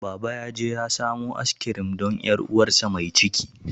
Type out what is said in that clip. Baba yaje ya samo askirim don 'yar uwarsa mai ciki.